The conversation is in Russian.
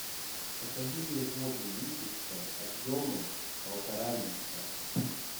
закажи мне воду липецкая объемом полтора литра